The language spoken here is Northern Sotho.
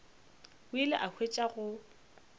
o ile a hwetša go